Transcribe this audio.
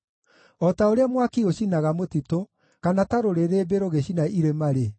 O ta ũrĩa mwaki ũcinaga mũtitũ kana ta rũrĩrĩmbĩ rũgĩcina irĩma-rĩ,